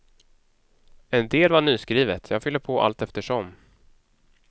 En del var nyskrivet, jag fyller på allteftersom.